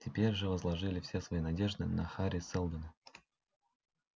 теперь же возложили все свои надежды на хари сэлдона